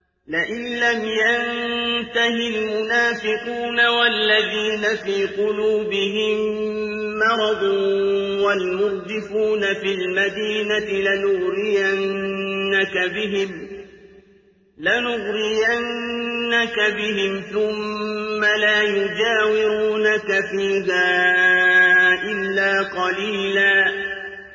۞ لَّئِن لَّمْ يَنتَهِ الْمُنَافِقُونَ وَالَّذِينَ فِي قُلُوبِهِم مَّرَضٌ وَالْمُرْجِفُونَ فِي الْمَدِينَةِ لَنُغْرِيَنَّكَ بِهِمْ ثُمَّ لَا يُجَاوِرُونَكَ فِيهَا إِلَّا قَلِيلًا